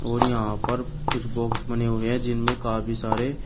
और यहां पर कुछ बॉक्स बने हुए हैं जिनमें काफी सारे--